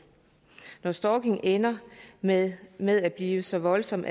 når stalking ender med med at blive så voldsom